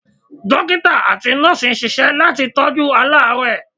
Dókítà àti Nọ́ọ̀sì ń ṣisẹ́ láti tọ́jú aláàrẹ́ẹ̀.